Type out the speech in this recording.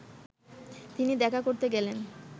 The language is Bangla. তিনি দেখা করতে গেলেন